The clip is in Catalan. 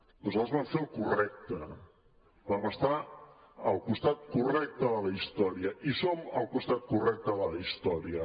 nosaltres vam fer el correcte vam estar al costat correcte de la història i som al costat correcte de la història